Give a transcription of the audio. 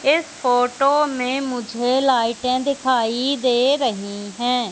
इस फोटो में मुझे लाइटें दिखाई दे रही हैं।